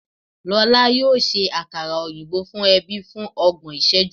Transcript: Lọla yoo ṣe akara oyinbo fun ẹbi fun ọgbọn iṣẹju